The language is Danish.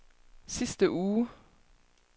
sidste uge